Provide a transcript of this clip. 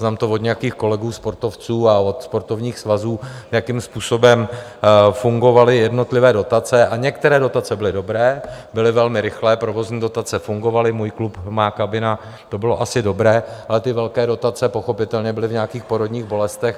Znám to od nějakých kolegů sportovců a od sportovních svazů, jakým způsobem fungovaly jednotlivé dotace, a některé dotace byly dobré, byly velmi rychlé - provozní dotace fungovaly: Můj klub, Má kabina, to bylo asi dobré, ale ty velké dotace pochopitelně byly v nějakých porodních bolestech.